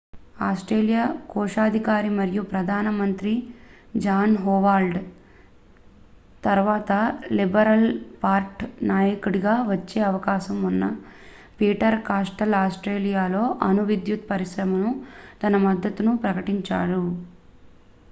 Australia కోశాధికారి మరియు ప్రధాన మంత్రి జాన్ హోవార్డ్ తరువాత లిబరల్ పార్టీ నాయకుడిగా వచ్చే అవకాశం ఉన్న పీటర్ కాస్టెల్లో ఆస్ట్రేలియాలో అణు విద్యుత్ పరిశ్రమకు తన మద్దతును ప్రకటించారు